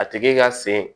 A tigi ka sen